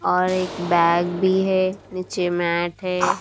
और एक बैग भी है नीचे मैट है।